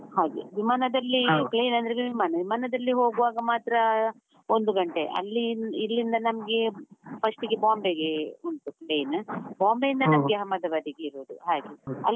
ಹಾಗೆ, ವಿಮಾನದಲ್ಲಿ plane ಅಂದ್ರೆ ವಿಮಾನ, ವಿಮಾನದಲ್ಲಿ ಹೋಗುವಾಗ ಮಾತ್ರ ಒಂದು ಗಂಟೆ, ಅಲ್ಲಿ ಇಲ್ಲಿಂದ ನಮ್ಗೆ first ಗೆ Bombay ಗೆ ಉಂಟು plane Bombay ಅಹಮದಾಬಾದ್ಗೆ ಇರುದು, ಹಾಗೆ ಅಲ್ಲಿ.